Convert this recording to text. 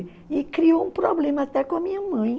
E criou um problema até com a minha mãe.